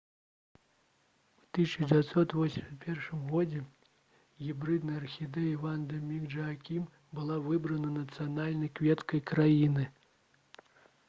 у 1981 годзе гібрыдная архідэя «ванда міс джаакім» была выбрана нацыянальнай кветкай краіны